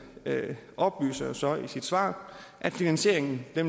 oplyser så i sit svar at finansieringen vil